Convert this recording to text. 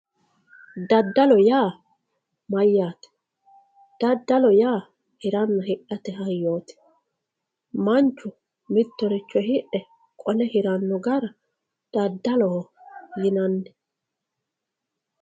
daddalo yaa mayyaate daddalo yaa hiranna hidhate hayyooti manchu mittoricho hidhe qole hiranno gara daddaloho yinanni.